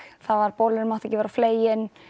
bolurinn mátti ekki vera of fleginn